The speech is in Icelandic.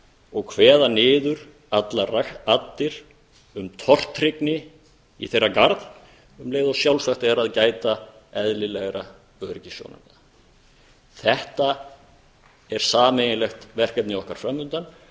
og kveða niður allar raddir um tortryggni í þeirra garð um leið og sjálfsagt er að gæta sjálfsagðra öryggisráðstafana þetta er sameiginlegt verkefni okkar fram undan